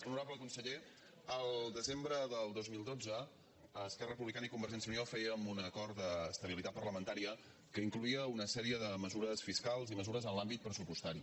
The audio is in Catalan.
honorable conseller al desembre del dos mil dotze esquerra republicana i convergència i unió fèiem un acord d’estabilitat parlamentària que incloïa una sèrie de mesures fiscals i mesures en l’àmbit pressupostari